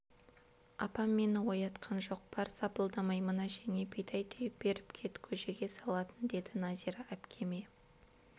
апам мені оятқан жоқ бар сапылдамай мына әжеңе бидай түйіп беріп кет көжеге салатын деді нәзира әпкеме